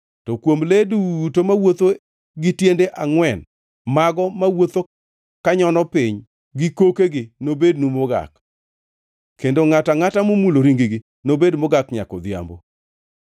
To kuom le duto mawuotho gi tiende angʼwen, mago mawuotho kanyono piny gi kokegi nobednu mogak, kendo ngʼato angʼata momulo ring-gi nobed mogak nyaka odhiambo.